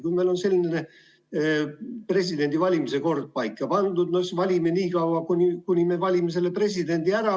Kui meil on selline presidendi valimise kord paika pandud, no siis valime nii kaua, kuni president saab valitud.